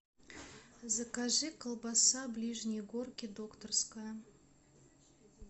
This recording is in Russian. закажи колбаса ближние горки докторская